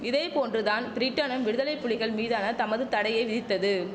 இதை போன்று தான் பிரிட்டனும் விடுதலைப்புலிகள் மீதான தமது தடையை விதித்தது